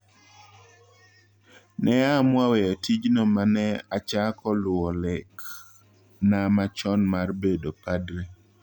Neaamua weyo tijno ma ne achako luwo lek na machon mar bedo padri."